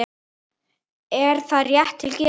Er það rétt til getið?